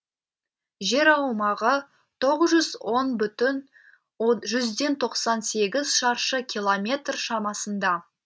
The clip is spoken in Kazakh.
жер аумағы тоғыз жүз он бүтін жүзден тоқсан сегіз шаршы километр шамасында